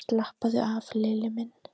Slappaðu af, Lilli minn!